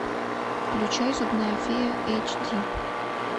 включай зубная фея эйч ди